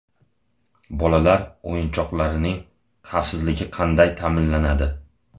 Bolalar o‘yinchoqlarining xavfsizligi qanday ta’minlanadi?.